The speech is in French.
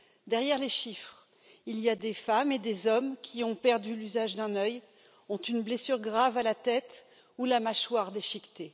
Derrière les chiffres, il y a des femmes et des hommes qui ont perdu l'usage d'un œil, ont une blessure grave à la tête ou la mâchoire déchiquetée.